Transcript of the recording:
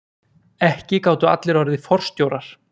Ekki gátu allir orðið forstjórar.